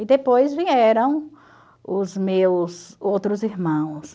E depois vieram os meus outros irmãos.